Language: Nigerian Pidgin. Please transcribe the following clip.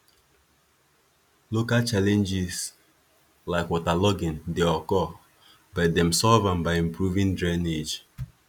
local challenges like waterlogging dey occur but dem solve am by improving drainage